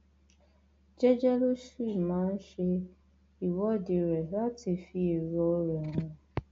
jẹẹjẹ ló sì máa ń ṣe ìwọde rẹ láti fi èrò rẹ hàn